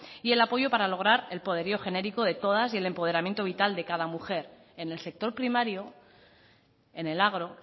y el apoyo para lograr el poderío genérico de todas y el empoderamiento vital de cada mujer en el sector primario en el agro